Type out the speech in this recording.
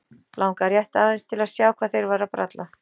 Langaði rétt aðeins til að sjá hvað þeir væru að bralla.